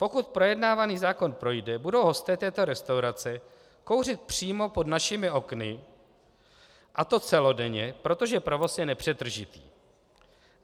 Pokud projednávaný zákon projde, budou hosté této restaurace kouřit přímo pod našimi okny, a to celodenně, protože provoz je nepřetržitý.